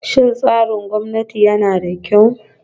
Shin tsarin gwamnati yana da kyau?